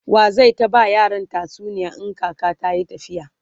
waye zai ta ba yaran tatsuniya in kaka tayi tafiya?